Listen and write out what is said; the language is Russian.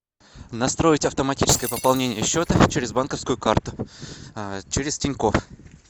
настроить автоматическое пополнение счета через банковскую карту через тинькофф